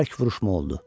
Bərk vuruşma oldu.